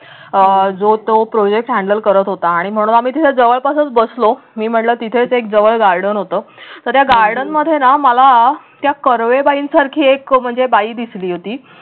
अह जो तो projects handle करत होता आणि म्हणून आम्ही तिथे जवळपासच बसलो मी म्हटलं तिथेच एक जवळ garden होत तर या garden मध्ये न मला त्या कर्वे बाईंसारखी म्हणजे एक बाई दिसली होती.